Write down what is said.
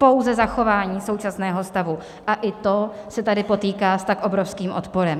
Pouze zachování současného stavu, a i to se tady potýká s tak obrovským odporem.